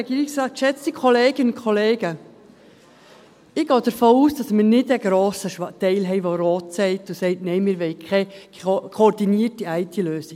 Ich gehe davon aus, dass wir keinen grossen Teil haben, der rot sagt und sagt: «Nein, wir wollen keine koordinierte IT-Lösung.